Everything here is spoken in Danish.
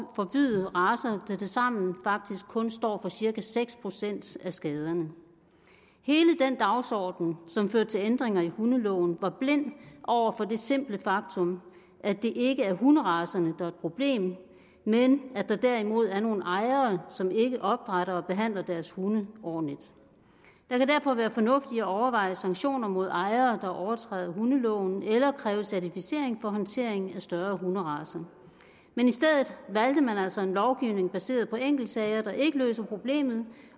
forbyde racer der tilsammen faktisk kun står for cirka seks procent af skaderne hele den dagsorden som førte til ændringer i hundeloven var blind over for det simple faktum at det ikke er hunderacerne er et problem men at der derimod er nogle ejere som ikke opdrætter og behandler deres hunde ordentligt der kan derfor være fornuft i at overveje sanktioner mod ejere der overtræder hundeloven eller kræve certificering for håndteringen af større hunderacer men i stedet valgte man altså en lovgivning baseret på enkeltsager der ikke løser problemet